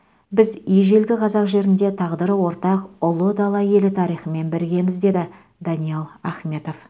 біз ежелгі қазақ жерінде тағдыры ортақ ұлы дала елі тарихымен біргеміз деді даниал ахметов